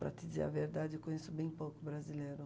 Para te dizer a verdade, eu conheço bem pouco brasileiro.